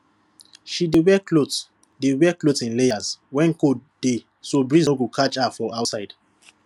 she dey wear cloth dey wear cloth in layers when cold dey so breeze no go catch her for outside